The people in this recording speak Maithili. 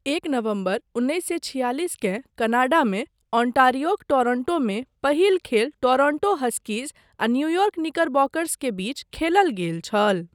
एक नवम्बर, उन्नैस सए छियालिसकेँ कनाडामे ओंटारियोक टोरंटोमे पहिल खेल टोरंटो हस्कीज आ न्यूयॉर्क निकरबॉकर्स के बीच खेलल गेल छल।